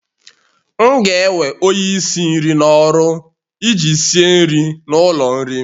M ga-ewe onye isi nri n'ọrụ iji sie nri n'ụlọ nri m